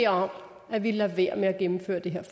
om at vi lader være med at gennemføre det her